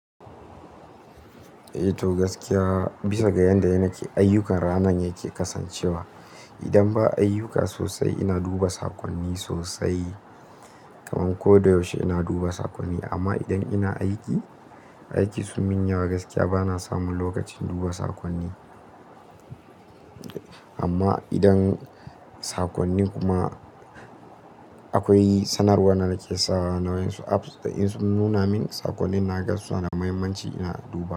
Eh to gaskiya bisa ga yadda yana ke, ayyukan ranan yake kasancewa. Idan ba ayyuka sosai ina duba saƙonni sosai. Kamar ko da yaushe ina duba saƙonni. Amma idan ina aiki, aiki sun min yawo gaskiya bana samun lokacin duba saƙonni. Amma idan saƙonnin kuma akwai sanarwa na danake sawa nawansu apps da in sun nuna min saƙonnin na ga suna muhimmanci ina duba.